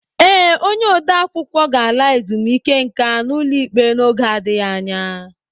Ee, onye ode akwụkwọ ga-ala ezumike nka n'ụlọ ikpe n'oge adịghị anya